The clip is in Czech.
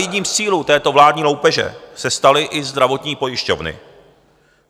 Jedním z cílů této vládní loupeže se staly i zdravotní pojišťovny.